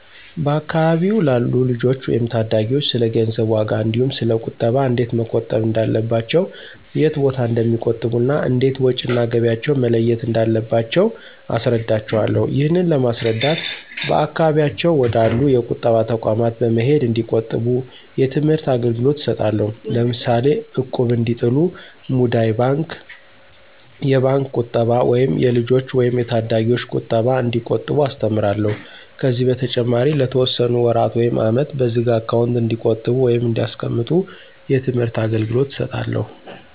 በአካባቢው ላሉ ልጆች ወይም ታዳጊዎች ስለገንዘብ ዋጋ እንዲሁ ስለ ቁጠባ እንዴት መቆጠብ እንዳለባቸው የት ቦታ እንደሚቆጥቡ እና እንዴት ወጭ እና ገቢያቸውን መለየት እንዳለባቸው አስረዳቸውአለሁ። ይህንን ለማስረዳት በአካባቢያቸው ወደ አሉ የቁጠባ ተቋማት በመሄድ እንዲቆጥቡ የትምህርት አገልግሎት እሰጣለሁ። ለምሳሌ እቁብ እንዲጥሉ፣ ሙዳይ ባንክ፣ የባንክ ቁጠባ ወይም የልጆች ወይም የታዳጊዎች ቁጠባ እንዲቆጥቡ አስተምራለሁ። ከዚህ በተጨማሪ ለተወሰነ ወራት ውይም አመት በዝግ አካውንት እንዲቆጥቡ ወይም እንዲያስቀምጡ የትምህርት አገልገሎት እሰጣለሁ።